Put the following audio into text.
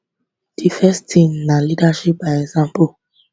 di first tin na leadership by example